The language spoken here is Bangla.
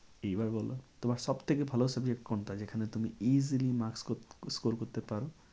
এইবার বলো তোমার সব থেকে ভালো subject কোনটা? যেখানে তুমি easily maks score করতে পারো?